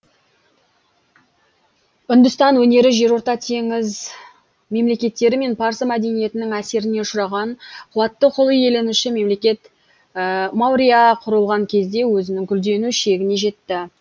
үндістан өнері жерорта теңіз мемлекеттері мен парсы мәдениетінің әсеріне ұшыраған қуатты құл иеленуші мемлекет маурья құрылған кезде өзінің гүлдену шегіне жетті